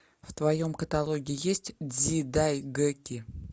в твоем каталоге есть дзидайгэки